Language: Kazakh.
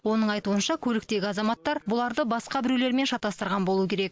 оның айтуынша көліктегі азаматтар бұларды басқа біреулермен шатастырған болу керек